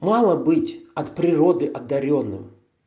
мало быть от природы одарённым